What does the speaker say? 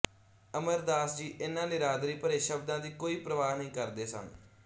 ਅਮਰਦਾਸ ਜੀ ਇਨ੍ਹਾਂ ਨਿਰਾਦਰੀ ਭਰੇ ਸ਼ਬਦਾਂ ਦੀ ਕੋਈ ਪਰਵਾਹ ਨਹੀਂ ਕਰਦੇ ਸਨ